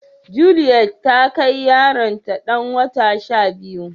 Juliet ta kai yaro ta dan wata shabiyu